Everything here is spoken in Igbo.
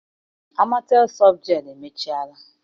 Amatel softgel emechaala.